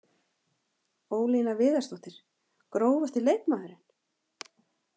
Ólína Viðarsdóttir Grófasti leikmaðurinn?